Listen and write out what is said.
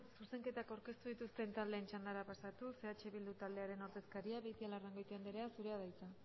zuzenketak aurkeztu dituzten taldeen txandara pasatuz eh bildu taldearen ordezkaria beitialarrangoitia andrea zurea da hitza